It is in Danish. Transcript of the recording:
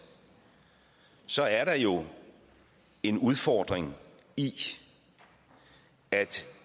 så er der jo en udfordring i at